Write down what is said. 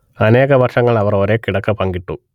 അനേക വർഷങ്ങൾ അവർ ഒരേ കിടക്ക പങ്കിട്ടു